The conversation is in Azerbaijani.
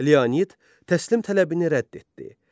Leonid təslim tələbini rədd etdi.